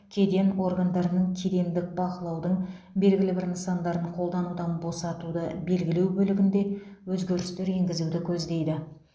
кеден органдарының кедендік бақылаудың белгілі бір нысандарын қолданудан босатуды белгілеу бөлігінде өзгерістер енгізуді көздейді